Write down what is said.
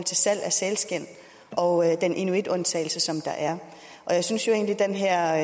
salg af sælskind og den inuitundtagelse der er jeg synes jo egentlig at den her